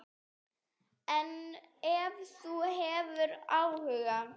En ef þú hefur áhuga.